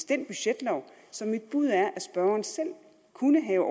den budgetlov så mit bud er at spørgeren selv kunne have